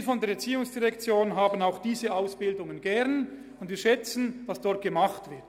Wir von der ERZ haben diese Ausbildungen auch gerne, und wir schätzen, was dort gemacht wird.